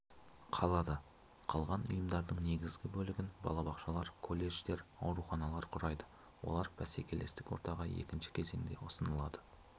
қалады қалған ұйымдардың негізгі бөлігін балабақшалар колледждер ауруханалар құрайды олар бәсекелестік ортаға екінші кезеңде ұсынылады